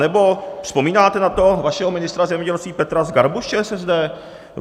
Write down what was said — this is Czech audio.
Anebo, vzpomínáte na toho vašeho ministra zemědělství Petra Zgarbu z ČSSD?